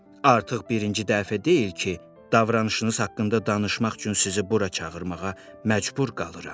Artıq birinci dəfə deyil ki, davranışınız haqqında danışmaq üçün sizi bura çağırmağa məcbur qalıram.